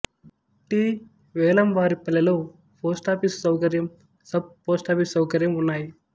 T వేలంవారిపల్లెలో post office సౌకర్యం sub post office సౌకర్యం ఉన్నాయి